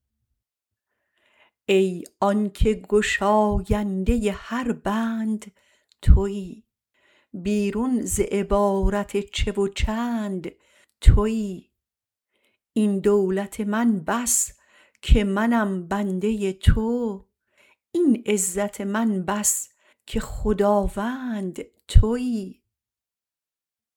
ای آنکه گشاینده هر بند تویی بیرون ز عبارت چه و چند تویی این دولت من بس که منم بنده تو این عزت من بس که خداوند تویی